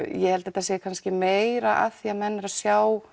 ég held þetta sé meira því menn eru að sjá